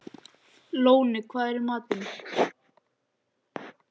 Lóni, hvað er í matinn?